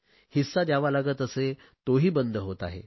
हिस्सा द्यावा लागत असे तोही बंद होत आहे